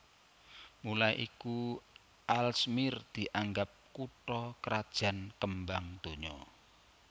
Mula iku Aalsmeer dianggep kutha krajan kembang donya